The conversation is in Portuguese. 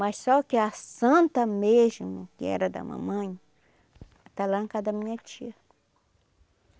Mas só que a Santa mesmo, que era da mamãe, está lá na casa da minha tia.